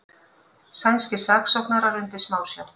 Sænskir saksóknarar undir smásjá